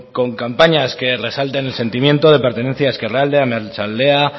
con campañas que resalten el sentimiento de pertenencia a ezkerralde a meatzaldea